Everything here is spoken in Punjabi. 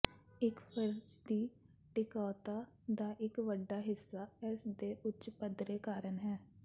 ਇੱਕ ਫਰਿਜ਼ ਦੀ ਟਿਕਾਊਤਾ ਦਾ ਇੱਕ ਵੱਡਾ ਹਿੱਸਾ ਇਸ ਦੇ ਉੱਚ ਪੱਧਰੇ ਕਾਰਨ ਹੈ